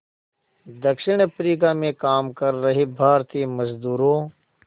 दक्षिण अफ्रीका में काम कर रहे भारतीय मज़दूरों